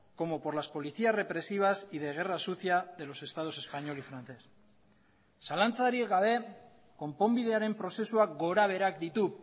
como por las policías represivas y de guerra sucia de los estados español y francés zalantzarik gabe konponbidearen prozesuak gorabeherak ditu